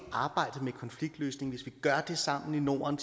arbejdet med konfliktløsning hvis vi gør det sammen i norden